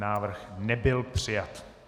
Návrh nebyl přijat.